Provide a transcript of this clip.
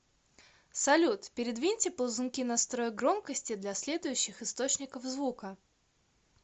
салют передвиньте ползунки настроек громкости для следующих источников звука